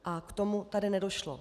A k tomu tady nedošlo.